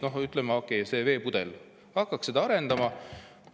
Noh, ütleme, okei, see veepudel, hakkaks seda arendama.